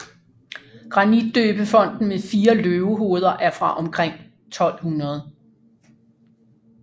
Grantidøbefonten med fire løvehoveder er fra omkring 1200